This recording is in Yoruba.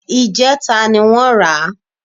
Ìjẹta ni wọ́n rà á